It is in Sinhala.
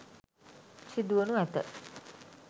සිදුවනු ඇත.